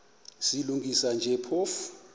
silungisa nje phofu